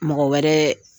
Mɔgɔ wɛrɛ